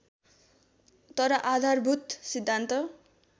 तर आधारभूत सिद्धान्त